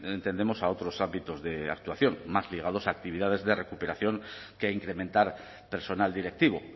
entendemos a otros ámbitos de actuación más ligados a actividades de recuperación que a incrementar personal directivo